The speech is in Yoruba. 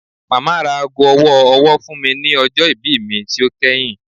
Mama ra aago ọwọ-ọwọ fun mi ni ọjọ ibi mi ti o kẹhin